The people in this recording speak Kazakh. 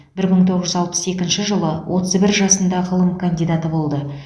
бір мың тоғыз жүз алпыс екінші жылы отыз бір жасында ғылым кандидаты болды